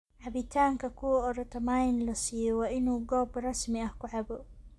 Cabitanka kuwa orotomayin lasiyo waa inu gob rasmi ah laku cabo.